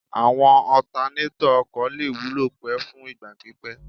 Àwọn ọtanétọ̀ ọkọ̀ lè wúlò pẹ́ fún ìgbà pípẹ́